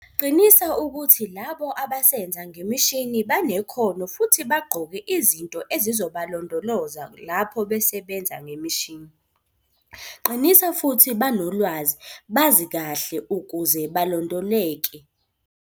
Qinisa ukuthi labo abasenza ngemishini banekhono futhi bagqoke izinto ezizobalondoloza lapho basebenza ngemishini. Qinisa futhi banolwazi, bazi kahle ukuze balondoleke.